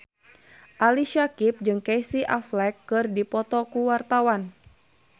Ali Syakieb jeung Casey Affleck keur dipoto ku wartawan